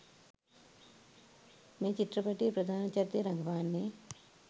මේ චිත්‍රපටයේ ප්‍රධාන චරිතය රඟපාන්නේ.